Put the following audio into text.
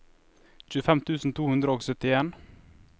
tjuefem tusen to hundre og syttien